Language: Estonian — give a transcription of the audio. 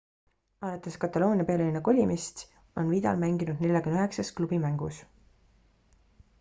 alates kataloonia pealinna kolimist on vidal mänginud 49 klubi mängus